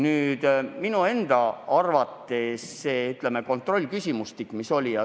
Aga minu arvates on pakutud kontrollküsimustik liiga keeruline.